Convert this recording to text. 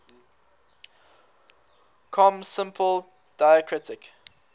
com simple diacritic